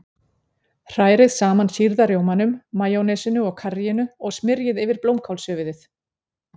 Hrærið saman sýrða rjómanum, majónesinu og karríinu og smyrjið yfir blómkálshöfuðið.